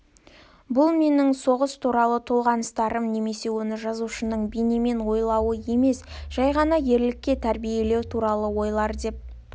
бұл менің соғыс туралы толғаныстарым немесе оны жазушының бейнемен ойлауы емес жай ғана ерлікке тәрбиелеу туралы ойлар деп